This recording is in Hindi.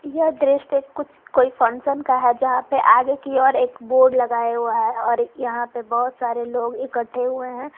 यह दृश्य कुछ कोई फंक्शन का है यहां पे आगे की और एक बोर्ड लगाए हुआ है और यहां पर बहुत सारे लोग इकट्ठे हुए हैं।